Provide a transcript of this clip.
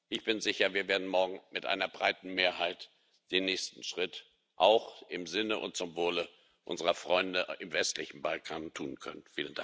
Ich bin sicher, wir werden morgen mit einer breiten Mehrheit den nächsten Schritt auch im Sinne und zum Wohle unserer Freunde im westlichen Balkan tun können.